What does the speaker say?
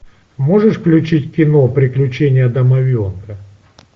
можешь включить кино приключения домовенка